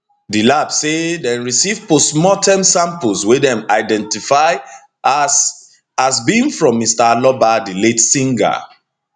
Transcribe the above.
di lab say dem receive postmorterm samples wey dem identify as as being from mr aloba di late singer